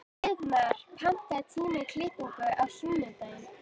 Hreiðmar, pantaðu tíma í klippingu á sunnudaginn.